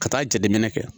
Ka taa jateminɛ kɛ